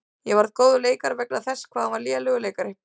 Ég varð góður leikari vegna þess hvað hann var lélegur leikari.